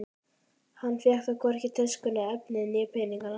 Hann fékk þó hvorki töskuna, efnið né peninga.